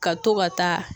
Ka to ka taa